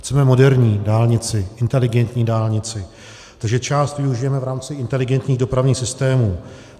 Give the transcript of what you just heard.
Chceme moderní dálnici, inteligentní dálnici, takže část využijeme v rámci inteligentních dopravních systémů.